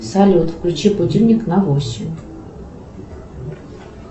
салют включи будильник на восемь